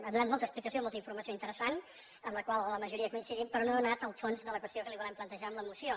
ha donat molta explicació molta informació interessant amb la majoria de la qual coincidim però no ha anat al fons de la qüestió que li volem plantejar amb la moció